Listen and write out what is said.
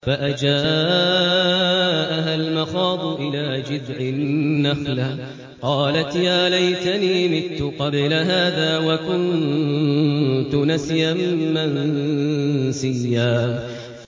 فَأَجَاءَهَا الْمَخَاضُ إِلَىٰ جِذْعِ النَّخْلَةِ قَالَتْ يَا لَيْتَنِي مِتُّ قَبْلَ هَٰذَا وَكُنتُ نَسْيًا مَّنسِيًّا